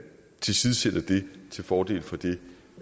tilsidesætter det til fordel for det